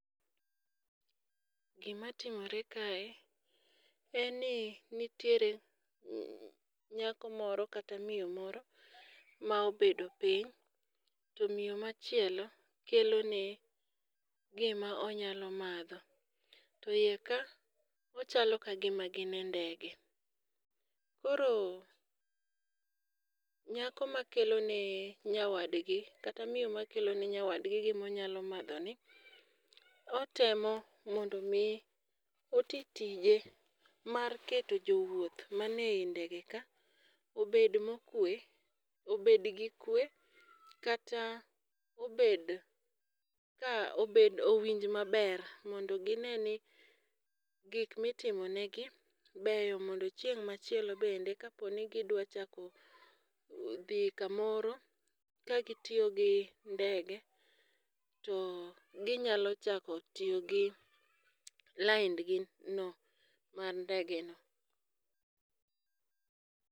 Gimatimore kae en ni nitiere nyako moro kata miyo moro ma obedo piny to miyo machielo kelo ne gima onyalo madho. To iye ka ochalo ka gima gin e ndege. Koro nyako ma kelo ne nyawadgi kata miyo ma kelo ne nyawadgi gimo nyamadho ni otemo mondo mi otii tije mar keto jowuoth man ei ndege ka obed mokwe obed gi kwe kata obed ka obed owinj maber mondo gine ni gik mitimo ne gi beyo mondo chieng' machielo bende kapo ni gidwa chako dhi kamoro ka gitiyo gi ndege to ginyalo chako tiyo gi laindgi no mar ndege no.